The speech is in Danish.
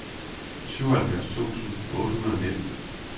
syvoghalvfjerds tusind otte hundrede og nitten